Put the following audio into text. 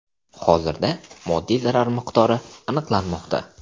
Hozirda moddiy zarar miqdori aniqlanmoqda.